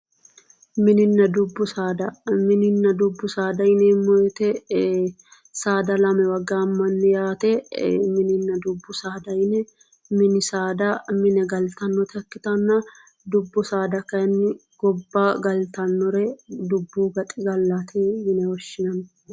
Mininna dubbu saada, mininna dubbu saada yineemmo woyte saada lamewa gaamani yaate, mininna dubbu saada yinne ,mini saada mine gallittanota ikkittanna ,dubbu saada kayinni gobba gallittanore dubbu gaxigallati yinne woshshinanni